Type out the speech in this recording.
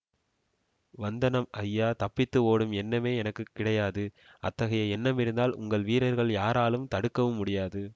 வந்தனம் ஐயா தப்பித்து ஓடும் எண்ணமே எனக்கு கிடையாது அத்தகைய எண்ணமிருந்தால் உங்கள் வீரர்கள் யாராலும் தடுக்கவும் முடியாது